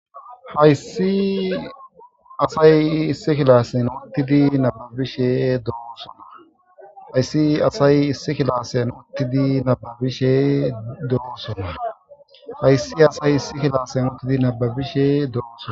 Hayssi asay issi kilasen uttidi nababishe doosona hayssi asay issi kilasen uttidi nababishe doosona hayssi asay issi kilasen uttidi nababishe dooson.